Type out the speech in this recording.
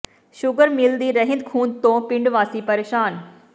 sugar mill ਦੀ ਰਹਿੰਦ ਖੂੰਹਦ ਤੋਂ ਪਿੰਡ ਵਾਸੀ ਪ੍ਰੇਸ਼ਾਨ